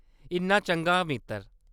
इन्ना चंगा मित्तर !